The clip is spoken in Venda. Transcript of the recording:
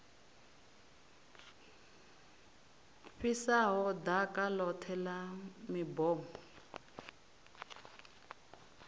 fhisaho ḓaka ḽoṱhe ḽa mibomo